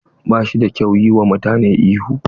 Ba shi da kyau yi wa mutane ihu.